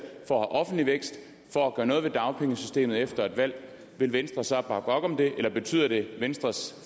for at have offentlig vækst for at gøre noget ved dagpengesystemet efter et valg vil venstre så bakke op om det eller betyder det at venstres